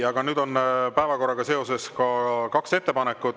Aga nüüd on päevakorra kohta kaks ettepanekut.